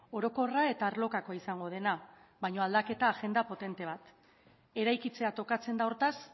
orokorra eta arlokakoa izango dena baina aldaketa agenda potente bat eraikitzea tokatzen da hortaz